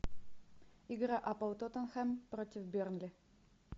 игра апл тоттенхэм против бернли